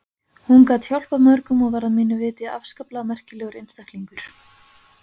Hún gat hjálpað mörgum og var að mínu viti afskaplega merkilegur einstaklingur.